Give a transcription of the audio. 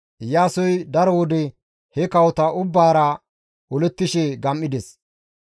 Iyaasoy daro wode he kawota ubbaara olettishe gam7ides.